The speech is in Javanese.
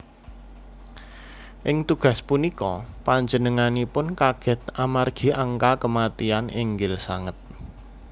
Ing tugas punika panjenenganipun kaget amargi angka kematian inggil sanget